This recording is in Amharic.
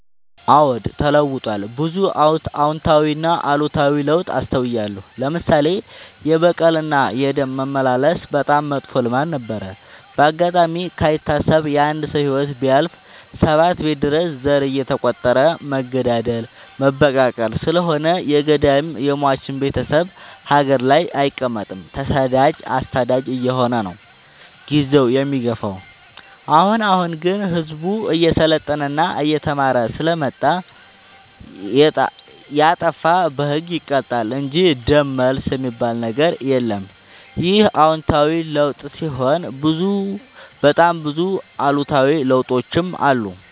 አዎድ ተለውጧል ብዙ አዎታዊ እና አሉታዊ ለውጥ አስታውያለሁ። ለምሳሌ፦ የበቀል እና የደም መመላለስ በጣም መጥፎ ልማድ ነበረ። በአጋጣሚ ካይታሰብ የአንድ ሰው ህይወት ቢያልፍ ሰባት ቤት ድረስ ዘር እየተ ቆጠረ መገዳደል መበቃቀል ስለሆነ የገዳይም የሞችም ቤቴሰብ ሀገር ላይ አይቀ መጥም ተሰዳጅ አሳዳጅ አየሆነ ነው። ጊዜውን የሚገፋው። አሁን አሁን ግን ህዝቡ እየሰለጠና እየተማረ ስለመጣ። የጣፋ በህግ ይቀጣል እንጂ ደም መልስ የሚበል ነገር የለም ይህ አዎታዊ ለውጥ ሲሆን በጣም ብዙ አሉታዊ ለውጦችም አሉ።